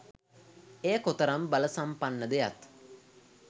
එය කොතරම් බලසම්පන්නද යත්